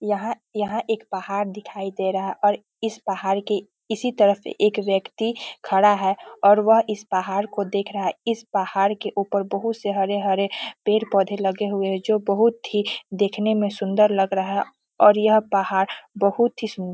यहाँ यहाँ एक पहाड़ दिखाई दे रहा और इस पहाड़ के इसी तरफ एक व्यक्ति खड़ा हैं और वह इस पहाड़ को देख रहा हैं इस पहाड़ के ऊपर बहुत से हरे-हरे पेड़-पौधे लगे हुए हैं जो बहुत ही देखने में सुंदर लग रहा हैं और यह पहाड़ बहुत ही सुंदर --